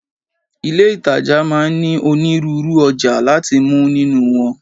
Ilé ìtajà máa ń ní onírúurú ọjà láti mú nínú wọn.